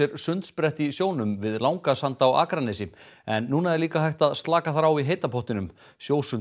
sundsprett í sjónum við Langasand á Akranesi en nú er líka hægt að slaka þar á í heita pottinum